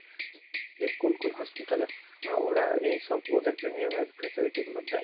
যে কোন কোন hospital এ ওরা এইসব ওদের premium এর facility গুলো দেয়